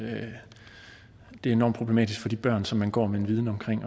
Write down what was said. enormt problematisk for de børn som man går med en viden